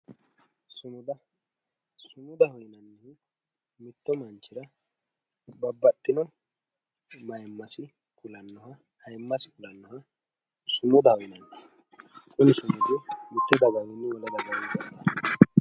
sumuda. sumudaho yinannihu mittu manchira babbaxxino mayiimmasi kulannoha ayiimmasi kulannoha sumudaho yinanni kuni sumudi mitte dagawiinni wole dagawii badanno.